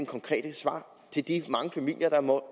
konkrete svar til de mange familier der må